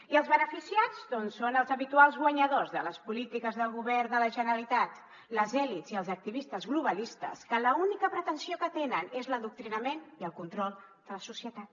i els beneficiats són els habituals guanyadors de les polítiques del govern de la generalitat les elits i els activistes globalistes que l’única pretensió que tenen és l’adoctrinament i el control de la societat